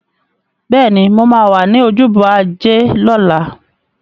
Bẹ́ẹ̀ni, mo máa wà ní ojúbọ Ajé lọ́la.